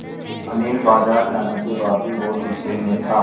अनिल बाज़ार जाने के बाद भी बहुत गु़स्से में था